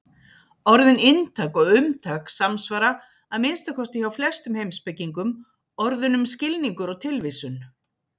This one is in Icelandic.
Orðin inntak og umtak samsvara, að minnsta kosti hjá flestum heimspekingum, orðunum skilningur og tilvísun.